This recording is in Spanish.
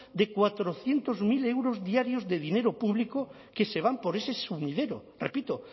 de cuatrocientos mil euros diarios de dinero público que se van por ese sumidero repito